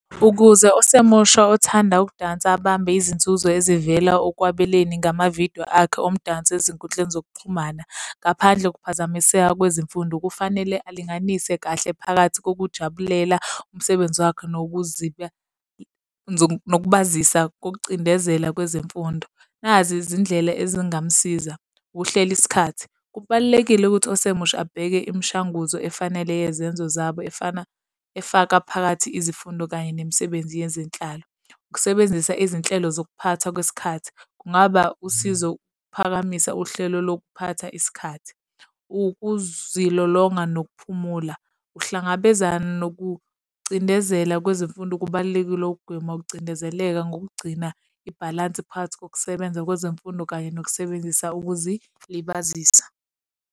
Ukuze osemusha othanda ukudansa abambe izinzuzo ezivela okwabeleni ngamavidiyo akhe omdanso ezinkundleni zokuxhumana ngaphandle kokuphazamiseka kwezemfundo, kufanele alinganise kahle phakathi kokujabulela umsebenzi wakhe nokuziba nokubazisa kokucindezela kwezemfundo. Nazi izindlela ezingamsiza. Ukuhlela isikhathi. Kubalulekile ukuthi osemusha abheke imishanguzo efanele yezenzo zabo efana, efaka phakathi izifundo kanye nemisebenzi yezenhlalo. Ukusebenzisa izinhlelo zokuphathwa kwesikhathi. Kungaba usizo ukuphakamisa uhlelo lokuphatha isikhathi. Ukuzilolonga nokuphumula. Uhlangabezana nokucindezela kwezemfundo kubalulekile ukugwema ukucindezeleka ngokugcina ibhalansi phakathi kokusebenza kwezemfundo kanye nokusebenzisa ukuzilibazisa.